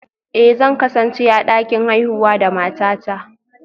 Eh, zan kasance a dakin haihuwa da matata